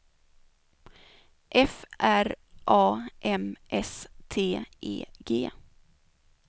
F R A M S T E G